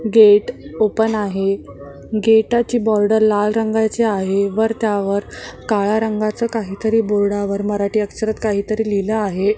Gate open आहे गेटाची border लाल रंगाची आहे वर त्यावर काळा रंगाचं काहीतरी बोर्डावर मराठी अक्षरात काहीतरी लिहिला आहे.